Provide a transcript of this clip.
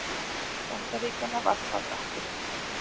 Bandaríkjanna varpað akkerum.